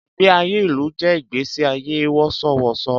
Ìgbé ayé ìlú jẹ́ ìgbẹ́sí ayé wọ̀ṣọ̀ wọ̀ṣọ̀